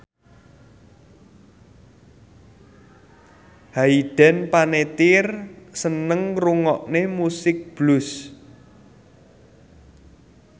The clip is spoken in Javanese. Hayden Panettiere seneng ngrungokne musik blues